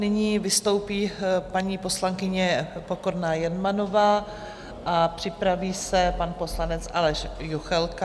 Nyní vystoupí paní poslankyně Pokorná Jermanová a připraví se pan poslanec Aleš Juchelka.